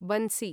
बन्सि